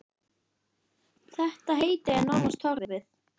Ég er heppin.